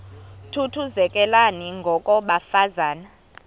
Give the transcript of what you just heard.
thuthuzelekani ngoko bafazana